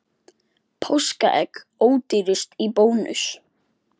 Páskaegg ódýrust í Bónus